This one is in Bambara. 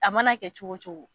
A mana kɛ cogo o cogo.